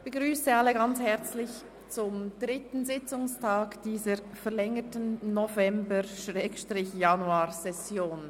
Ich begrüsse Sie alle herzlich zum dritten Sitzungstag dieser verlängerten November- respektive ausserordentlichen Januarsession.